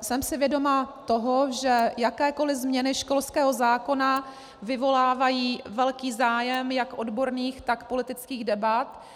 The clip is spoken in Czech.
jsem si vědoma toho, že jakékoli změny školského zákona vyvolávají velký zájem jak odborných, tak politických debat.